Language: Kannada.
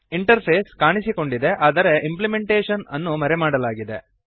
ಇಂಟರ್ಫೇಸ್ ಕಾಣಿಸಿಕೊಂಡಿದೆ ಆದರೆ ಇಂಪ್ಲಿಮೆಂಟೇಶನ್ ಅನ್ನು ಮರೆಮಾಡಲಾಗಿದೆ